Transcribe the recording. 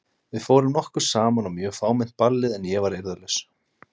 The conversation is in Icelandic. Við fórum nokkur saman á mjög fámennt ballið en ég var eirðarlaus.